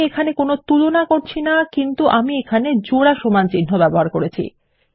আমি এখানে কোনো তুলনা করছি না কিন্তু আমি এখানে একটি জোড়া সমান চিন্হ দিয়েছি